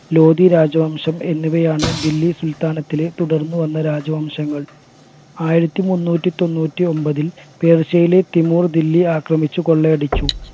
ലോദി രാജവംശം എന്നിവയാണ് ദില്ലി സുൽത്താനത്തിലെ തുടർന്ന് വന്ന രാജവംശങ്ങൾ ആയിരത്തി മുന്നൂറ്റി തൊണ്ണൂറ്റി ഒമ്പതിൽ പേർഷ്യയിലെ തിമൂർ ദില്ലി ആക്രമിച്ചു കൊള്ളയടിച്ചു